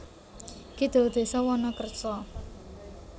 Kidul desa Wonokerso